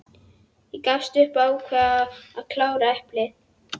Ég gafst upp og ákvað að klára eplið.